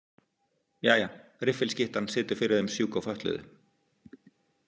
Jæja, riffilskyttan situr fyrir þeim sjúku og fötluðu.